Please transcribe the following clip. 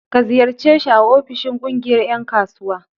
Ka ziyarce shi a ofishin ƙungiyar ƴan kasuwa.